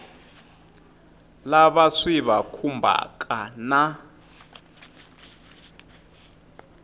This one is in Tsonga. lava swi va khumbhaka na